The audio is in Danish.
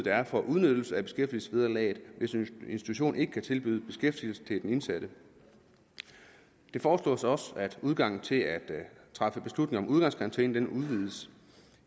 er for udnyttelse af beskæftigelsesvederlaget hvis en institution ikke kan tilbyde beskæftigelse til den indsatte det foreslås også at adgangen til at træffe beslutning om udgangskarantæne udvides